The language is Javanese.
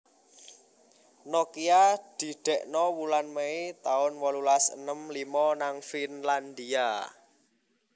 Nokia didekno wulan Mei tahun wolulas enem limo nang Finlandia